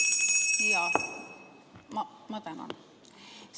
Ma tänan!